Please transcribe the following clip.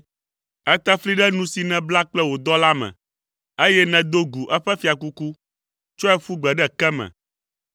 Ète fli ɖe nu si nèbla kple wò dɔla me, eye nèdo gu eƒe fiakuku, tsɔe ƒu gbe ɖe ke me.